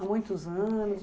Há muitos anos?